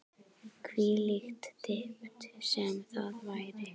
Hvílík dýpt sem það væri.